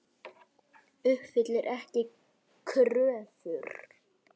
Uppfyllir ekki kröfur